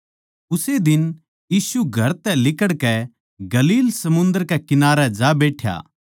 उस्से दिन यीशु घर तै लिकड़कै गलील समुन्दर कै किनारै जा बैठ्या